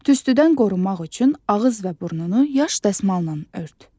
Tüstüdən qorunmaq üçün ağız və burnunu yaş dəsmalla ört.